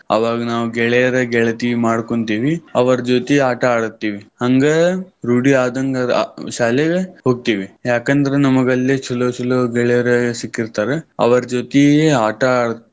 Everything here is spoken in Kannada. ಅವಾಗ್ ನಾವ್ ಗೆಳೆಯರ, ಗೆಳತಿ ಮಾಡ್ಕೊಂತೀವಿ. ಅವರ್ ಜೊತಿ ಆಟ ಆಡ್ತಿವಿ. ಹಂಗ ರೂಢಿ ಆದಂಗ ಆ ಶಾಲೆಗ ಹೋಗ್ತಿವಿ. ಯಾಕಂದ್ರ ನಮಗಲ್ಲಿ ಚಲೊ ಚಲೊ ಗೆಳೆಯರ್ ಸಿಕ್ಕಿರ್ತಾರ್ ಅವರ ಜೊತಿ ಆಟಾ ಆಡಾಕ್.